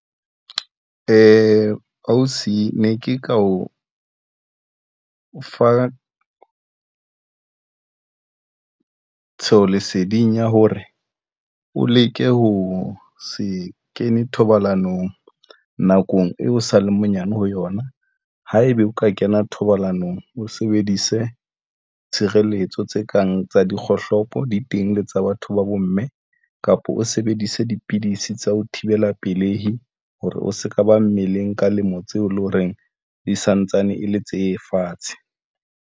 Ausi ne ke ka o fa tlhahisoleseding ya hore o leke ho se kene thobalanong nakong eo o sale monyane ho yona haebe o ka kena thobalanong. O sebedise tshireletso tse kang tsa di kgohlopo, di teng le tsa batho ba bomme kapa o sebedise dipidisi tsa ho thibela pelehi hore o se ka ba mmeleng ka lemo tseo e leng ho reng di santsane e le tse fatshe.